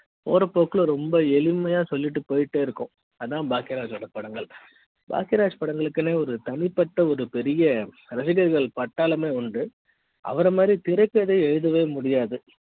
போற போக்குல ரொம்ப எளிமை யா சொல்லிட்டு போயிட்டே இருக்கும் அதான் பாக்கியராஜ் படங்கள் பாக்கியராஜ் படங்களுக்கு ஒரு தனிப்பட்ட ஒரு பெரிய ரசிகர்கள் பட்டாளமே உண்டு அவர மாதிரி திரைக்கதை எழுதவே முடியாது